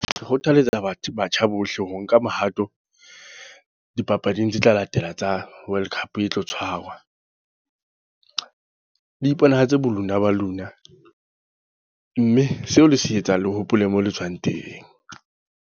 Ke kgothaletsa batho batjha bohle ho nka mohato, dipapading tse tla latela tsa World Cup e tlo tshwarwa. Le iponahatse bo lona ba lona. Mme seo le se etsang, le hopole mo le tswang teng.